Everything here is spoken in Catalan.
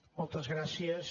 moltes gràcies